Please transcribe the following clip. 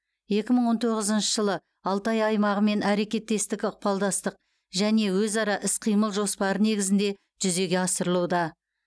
екі мың он тоғызыншы жылы алтай аймағымен әрекеттестік ықпалдастық және өзара іс қимыл жоспары негізінде жүзеге асырылуда